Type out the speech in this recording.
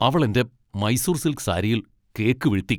അവൾ എന്റെ മൈസൂർ സിൽക്ക് സാരിയിൽ കേക്ക് വീഴ്ത്തി.